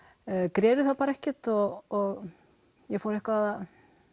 greri það bara ekki og ég fór eitthvað að